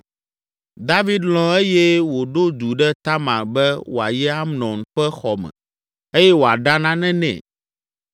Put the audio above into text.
David lɔ̃ eye wòɖo du ɖe Tamar be wòayi Amnon ƒe xɔ me eye wòaɖa nane nɛ.